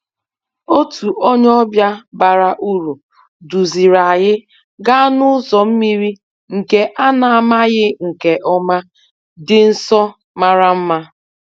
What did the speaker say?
Otu onye ọbịa bara uru duziri anyị gaa n'ụzọ mmiri nke a na-amaghị nke ọma dị nso mara mma